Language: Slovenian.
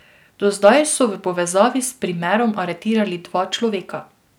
Do zdaj so v povezavi s primerom aretirali dva človeka.